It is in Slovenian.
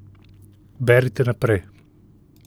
Berite naprej.